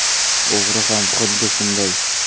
O‘g‘ri ham xuddi shunday.